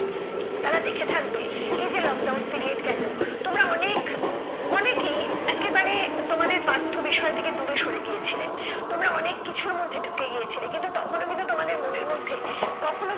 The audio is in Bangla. তারা দেখে থাকবে এই যে lockdown period গেলো তোমরা অনেক অনেকেই একেবারে তোমাদের পাঠ্যবিষয় থেকে দূরে সরে গিয়েছিলে। তোমরা অনেক কিছুর মধ্যে ঢুকে গিয়েছিলে কিন্তু তখনও কিন্তু তোমাদের মনের মধ্যে কখনো